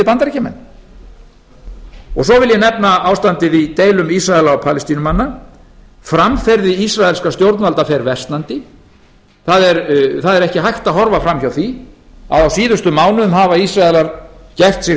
bandaríkjamenn svo vil ég nefna ástandið í deilum ísraela og palestínumanna framferði ísraelskra stjórnvalda fer síversnandi það er ekki hægt að horfa fram hjá því að á síðustu mánuðum hafa ísraelar gert sig